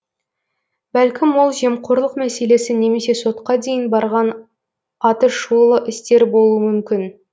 бәлкім ол жемқорлық мәселесі немесе сотқа дейін барған атышулы істер болуы мүмкін